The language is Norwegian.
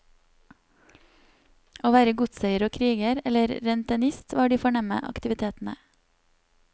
Å være godseier og kriger, eller rentenist, var de fornemme aktivitetene.